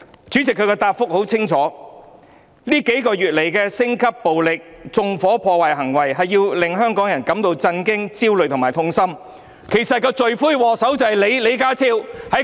主席，他的答覆很清楚：這數個月來升級的暴力，包括縱火和破壞行為，令香港人感到震驚、焦慮和痛心，其實罪魁禍首正是李家超！